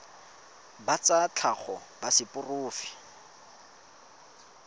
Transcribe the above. ba tsa tlhago ba seporofe